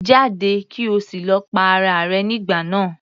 Jáde! kí o sì lọ pa ara rẹ nígbà náà.